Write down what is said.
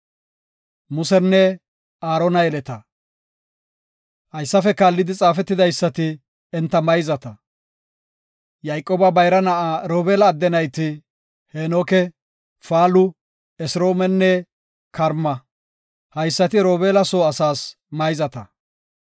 Haysafe kaallidi xaafetidaysati enta mayzata; Yayqooba bayra na7aa Robeela adde nayti, Heenoke, Faalu, Esroomenne Karma. Haysati Robeela soo asaas mayzata.